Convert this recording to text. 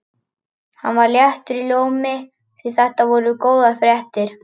Hann var léttur í rómi því þetta voru góðar fréttir.